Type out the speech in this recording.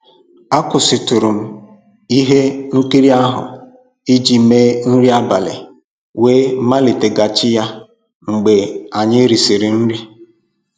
Akwụsịtụrụ m ihe nkiri ahụ iji mee nri abalị wee maliteghachi ya mgbe anyị risịrị nri.